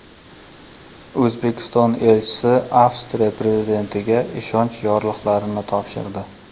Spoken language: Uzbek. O‘zbekiston elchisi Avstriya prezidentiga ishonch yorliqlarini topshirdi.